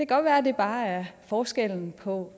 godt være at det bare er forskellen på